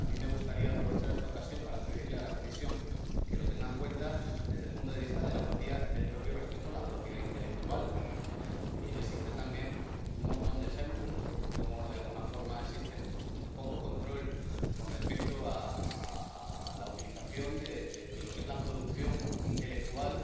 Y a mí me gustaría aprovechar esta ocasión para pedirle a la Comisión que lo tenga en cuenta desde el punto de vista del propio respeto a la propiedad intelectual. Y existen también un montón de ejemplos de cómo, de alguna forma, existe poco control con respecto a la utilización de la producción intelectual